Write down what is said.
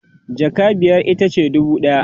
jaka biyar itace dubu ɗaya